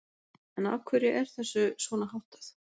En af hverju er þessu svona háttað?